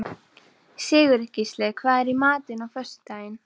Sigurgísli, hvað er í matinn á föstudaginn?